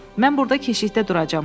Mən burda keşiyə duracam,